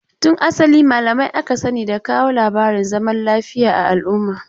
Tun asali malamai aka sani da kawo labarin zaman lafiya a al'umma.